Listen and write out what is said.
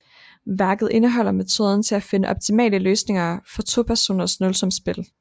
Værket indeholder metoden til at finde optimale løsninger for topersoners nulsumsspil